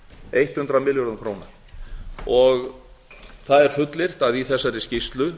eitt hundrað milljörðum króna það er fullyrt að í þessari skýrslu